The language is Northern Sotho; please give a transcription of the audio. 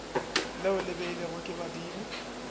leo le beilwego ke badimo